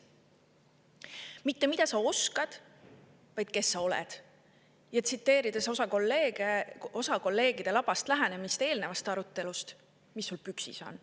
mitte see, mida sa oskad, vaid see, kes sa oled ja – tsiteerides kolleegide labast lähenemist eelnevast arutelust – mis sul püksis on.